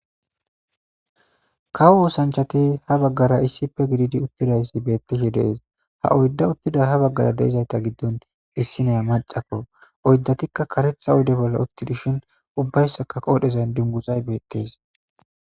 kawo oosanchati ha baggara issife gididi uttidayssi beettishi dees ha oydda uttida ha baggara deizayta giddon issineya macakko oyddatikka karetha oyde bolla uttidishin ubbayssaka qoodhezan dinguzay beettes